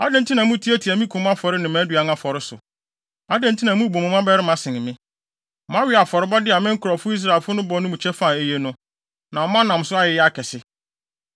Adɛn nti na mutiatia me kum afɔre ne mʼaduan afɔre so? Adɛn nti na mubu mo mmabarima sen me? Moawe afɔrebɔde a me nkurɔfo Israelfo bɔ no mu kyɛfa a eye no, na monam so ayeyɛ akɛse!’